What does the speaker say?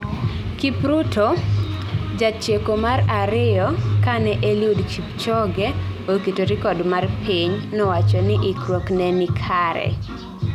Kipruto, jatieko mar ariyo kane Eliud Kipchoge oketo record mar piny, nowacho ni ikruokne nenikare